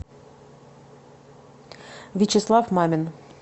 вячеслав мамин